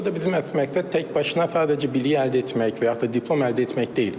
Burada bizim əsas məqsəd tək başına sadəcə biliyi əldə etmək və yaxut da diplom əldə etmək deyil.